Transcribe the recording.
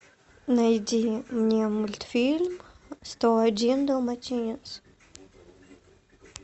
найди мне мультфильм сто один далматинец